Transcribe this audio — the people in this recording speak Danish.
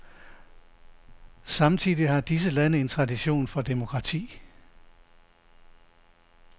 Samtidig har disse lande en tradition for demokrati.